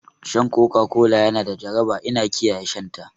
Shan Coca Cola na da jaraba ina kiyaye shan ta